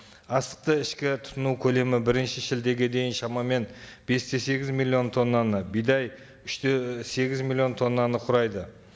астықты ішкі тұтыну көлемі бірінші шілдеге дейін шамамен бес те сегіз миллион тоннаны бидай үш те сегіз миллион тоннаны құрайды